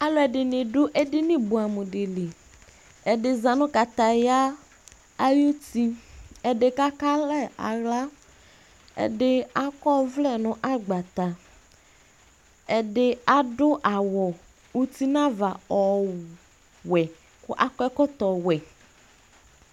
Alʋ ɛdini dʋ ɛdini buɛ'mʋ dili Ɛdiza nʋ kataya ayuti, ɛdi kakalɛ aɣla, ɛdi akɔ'vlɛ nʋ agbata, ɛdi adʋ awʋ utin'ava ɔwɛ kʋ ak'ɛkɔtɔ wɛ